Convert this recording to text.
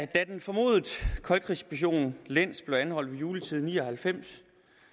den formodede koldkrigsspion lenz blev anholdt ved juletid i nitten ni og halvfems